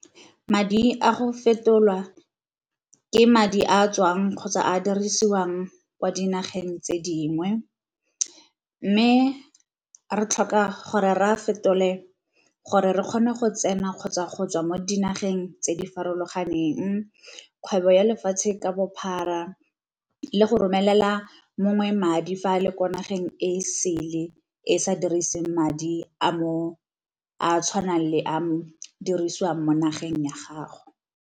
Madi a go fetolwa ke madi a tswang kgotsa a dirisiwang kwa dinageng tse dingwe, mme re tlhoka gore re a fetole gore re kgone go tsena kgotsa go tswa mo dinageng tse di farologaneng, kgwebo ya lefatshe ka bophara, le go romelela mongwe madi fa a le ko nageng e e sele e sa diriseng madi a tshwanang le a dirisiwang mo nageng ya gago.